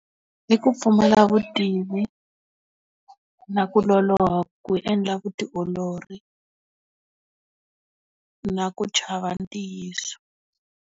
I ku pfumula vutivi. Na ku loloha ku endla vutiolori na ku chava ntiyiso.